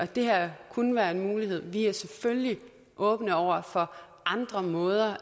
det her kunne være en mulighed vi er selvfølgelig åbne over for andre måder